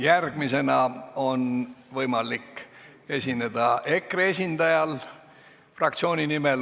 Järgmisena on fraktsiooni nimel võimalik esineda EKRE esindajal.